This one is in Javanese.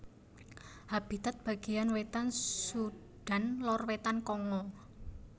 Habitat bagéyan wétan Sudan lor wétan Kongo